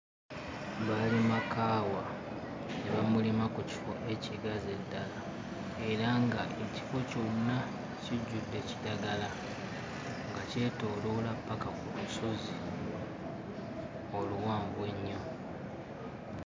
Baalima kaawa ne bamulima ku kifo ekigazi eddala era nga ekifo kyonna kijjude kiragala nga kyetooloola paka ku lusozi oluwanvu ennyo.